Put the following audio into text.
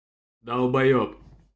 долбаёб